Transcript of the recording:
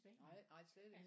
Nej nej slet ikke